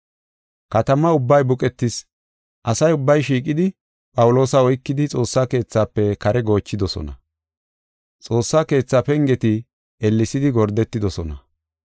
Katama ubbay buqetis; asa ubbay shiiqidi Phawuloosa oykidi Xoossa Keethafe kare goochidosona. Xoossa Keethaa pengeti ellesidi gordetidosona.